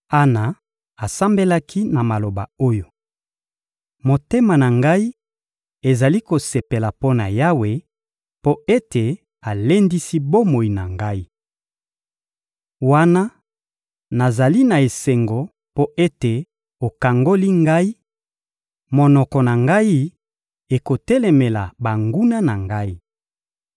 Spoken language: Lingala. Ana asambelaki na maloba oyo: Motema na ngai ezali kosepela mpo na Yawe mpo ete alendisi bomoi na ngai. Wana nazali na esengo mpo ete okangoli ngai, monoko na ngai ekotelemela banguna na ngai.